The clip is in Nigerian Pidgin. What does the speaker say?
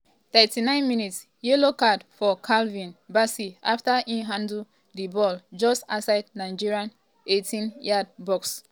39 mins - yellow card for calvin bassey afta e handle di ball just outside nigeria eighteen-yard box.